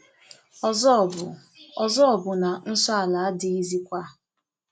Ọzọ bụ Ọzọ bụ na nsọ ala adịghịzịkwa.